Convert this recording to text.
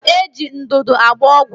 Eji ndụdụ agba ọgwụ